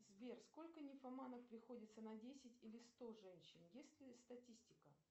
сбер сколько нимфоманов приходится на десять или сто женщин есть ли статистика